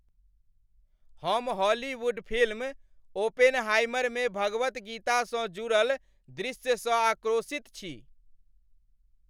हम Hollywood film "Oppenheimer" मे भगवद गीतासँ जुड़ल दृश्यसँ आक्रोशित छी।